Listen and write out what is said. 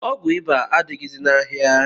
Ọgwụ iba adịghịzi n'ahịa